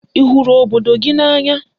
Ị hụrụ obodo gị n'anya?